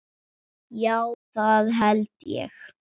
Já það held ég.